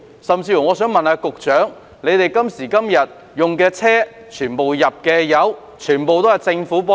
更甚的是，官員今時今日使用的車輛，汽油費用全部由公帑支付。